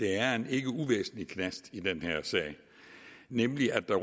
er en ikke uvæsentlig knast i den her sag nemlig at der